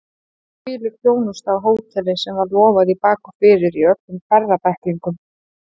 Hvílík þjónusta á hóteli sem var lofað í bak og fyrir í öllum ferðabæklingum!